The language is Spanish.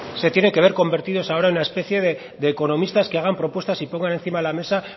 se tiene que ver convertidos ahora en una especie de economistas que hagan propuestas y pongan encima de la mesa